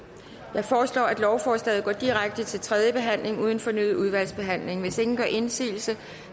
foreslår at lovforslaget går direkte til tredje behandling uden fornyet udvalgsbehandling hvis ingen gør indsigelse